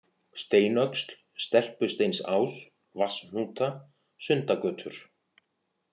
Steinöxl, Stelpusteinsás, Vatnshnúta, Sundagötur